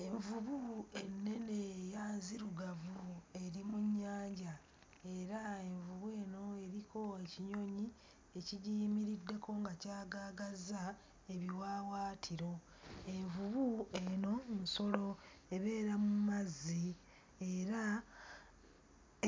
Envubu ennene era nzirugavu eri mu nnyanja era envubu eno eriko ekinyonyi ekigiyimiriddeko nga kyagaagazza ebiwaawaatiro. Envubu eno nsolo ebeera mu mazzi era